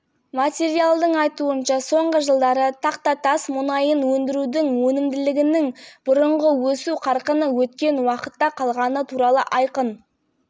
атап кеткендей өндірістің өнімділік көрсеткіші мен мұнай өндіру көлемдері андарако бассейні игл форд және нюобара құрылымдары пермь бассейні сияқты негізгі салаларда